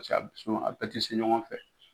Paseka a bɛɛ tɛ se ɲɔgɔn fɛ.